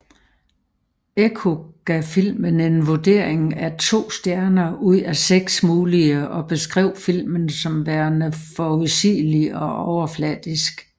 Ekko gav filmen en vurdering af to stjerner ud af seks mulige og beskrev filmen som værende forudsigelig og overfladisk